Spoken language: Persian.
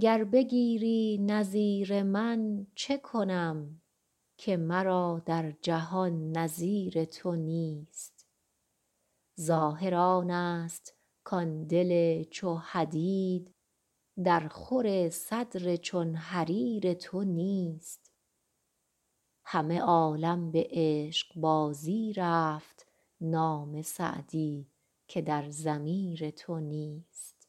گر بگیری نظیر من چه کنم که مرا در جهان نظیر تو نیست ظاهر آنست کان دل چو حدید درخور صدر چون حریر تو نیست همه عالم به عشقبازی رفت نام سعدی که در ضمیر تو نیست